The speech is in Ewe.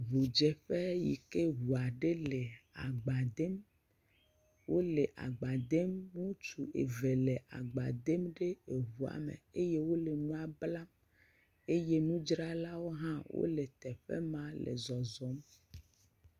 Ŋudzeƒe yike ŋua ɖe le agba dem, wole agba dem, ŋutsu eve le agba dem ɖe eŋua me, eye wole enua blam eye nudzralawo hã wole zɔzɔm.